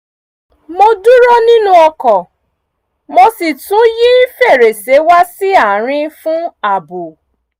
mo dúró nínú ọkọ̀ mo sì tún yí fèrèsé wá sí àárín fún ààbò